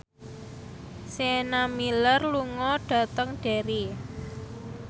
Sienna Miller lunga dhateng Derry